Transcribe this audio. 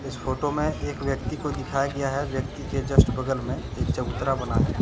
इस फोटो में एक व्यक्ति को दिखाया गया है व्यक्ति के जस्ट बगल में एक चबूतरा बना है।